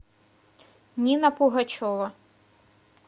нина пугачева